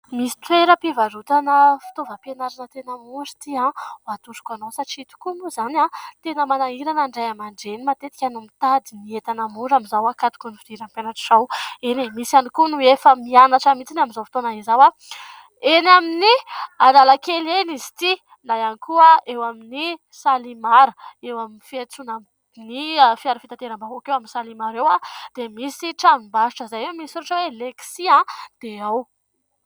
Misy toeram-pivarotana fitaovam-pianarana tena mora ity atoroko anao fa tena manahirana ny Ray aman-dreny matetika ny mitady ny entana mora amin'ny izao hakatokiny ny fidiran'ny mpianatra izao, misy ihany koa ny efa tena mianatra amin'ny izao fotoana izao eny amin'ny analakely na ihany koa amin'ny salimar eo amin'ny fiantsoana ny fiara fitateram-bahoaka dia misy tranombarotra izay ao dia misy soratra oe"Lexis".